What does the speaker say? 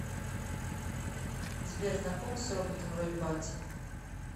сбер знакома с роботом рой батти